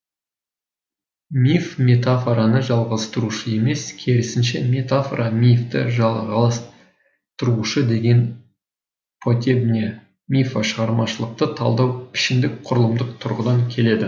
миф метафораны жалғастырушы емес керісінше метафора мифті жалғастырушы деген потебня мифо шығармашылықты талдауға пішіндік құрылымдық тұрғыдан келеді